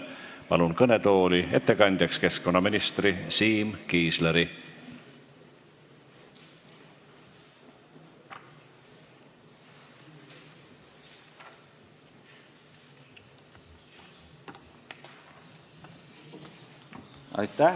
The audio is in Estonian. Palun ettekandeks kõnetooli keskkonnaminister Siim Kiisleri!